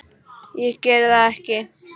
Ég geri það ekki.